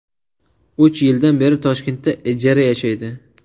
Uch yildan beri Toshkentda ijara yashaydi.